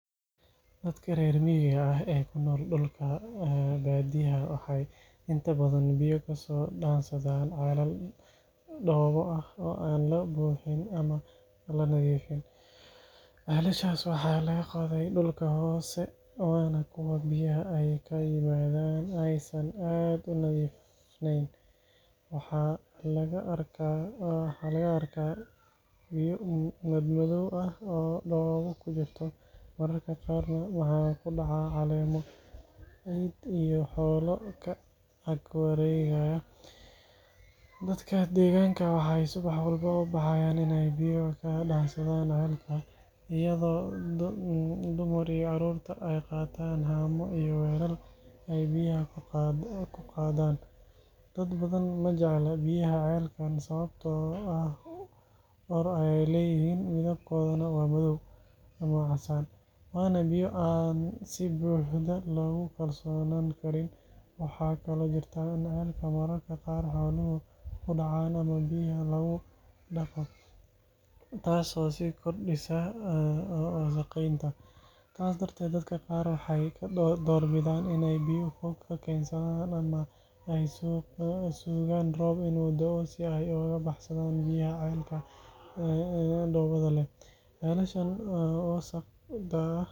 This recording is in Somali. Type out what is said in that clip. Dadka reer miyiga ah ee ku nool dhulka baadiyaha waxay inta badan biyo ka soo dhaansadaan ceelal dhoobo ah oo aan la buuxin ama la nadiifin. Ceelashaas waxaa laga qoday dhulka hoose, waana kuwo biyaha ay ka yimaaddaan aysan aad u nadiifnayn. Waxaa laga arkaa biyo madmadow ah oo dhoobo ku jirto, mararka qaarna waxaa ku dhaca caleemo, ciid iyo xoolo ka ag wareegaya. Dadka deegaanka waxay subax walba u baxaan inay biyo ka dhaansadaan ceelka, iyadoo dumar iyo caruurtu ay qaataan haamo iyo weelal ay biyaha ku qaadaan. Dad badan ma jecla biyaha ceelkan sababtoo ah ur ayay leeyihiin, midabkooduna waa madow, waana biyo aan si buuxda loogu kalsoonaan karin. Waxaa kaloo jirta in ceelka mararka qaar xooluhu ku dhacaan ama biyaha lagu dhaqo, taasoo sii kordhisa wasakheynta. Taas darteed, dadka qaar waxay ka doorbidaan inay biyo fog ka keensadaan ama ay sugaan roob inuu da’o si ay uga baxsadaan biyaha ceelka dhoobada leh. Ceelashan wasakhda ah waxay keeni karaan cudurro sida shuban iyo jadeeco, taasoo sabab u noqotay in dadku ka cawdaan oo ay raadiyaan xalal ka fiican.